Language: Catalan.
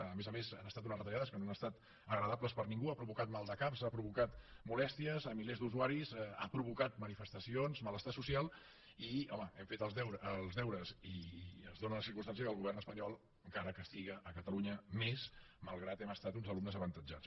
a més a més han estat unes retallades que no han estat agradables per a ningú han provocat maldecaps han provocat molèsties a milers d’usuaris han provocat manifestacions malestar social i home hem fet els deures i es dóna la circumstància que el govern espanyol encara castiga catalunya més malgrat que hem estat uns alumnes avantatjats